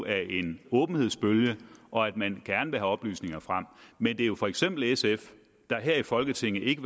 af en åbenhedsbølge og at man gerne vil have oplysninger frem men det er jo for eksempel sf der her i folketinget ikke